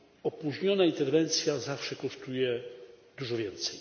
Opóźniona interwencja zawsze kosztuje dużo więcej.